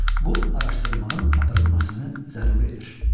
Bu araşdırmanın aparılmasını zəruridir.